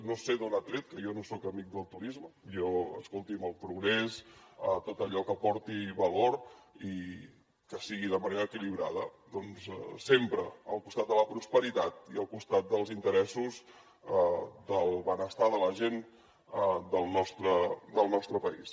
no sé d’on ha tret que jo no soc amic del turisme jo escolti’m el progrés tot allò que aporti valor i que sigui de manera equilibrada doncs sempre al costat de la prosperitat i al costat dels interessos del benestar de la gent del nostre país